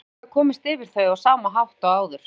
Sævar hafði komist yfir þau á sama hátt og áður.